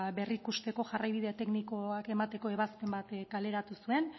berrikusteko jarraibide teknikoak emateko ebazpen bat kaleratu zuen